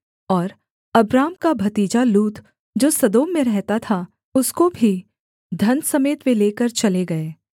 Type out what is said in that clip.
और अब्राम का भतीजा लूत जो सदोम में रहता था उसको भी धन समेत वे लेकर चले गए